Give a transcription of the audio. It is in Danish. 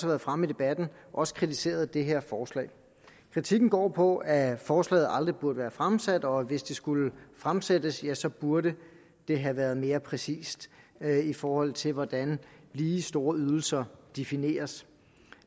været fremme i debatten også kritiseret det her forslag kritikken går på at forslaget aldrig burde have været fremsat og at hvis det skulle fremsættes ja så burde det have været mere præcist i forhold til hvordan lige store ydelser defineres